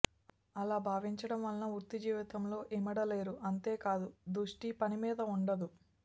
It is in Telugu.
అలా భావించడం వల్ల వృత్తి జీవితంలో ఇమడలేరు అంతేకాదు దృష్టి పని మీద ఉండదు